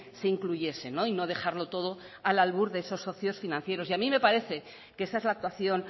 se incluyese y no dejarlo todo al albur de esos socios financieros y a mí me parece que esa es la actuación